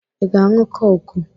Ị ga-aṅụ kọkụ?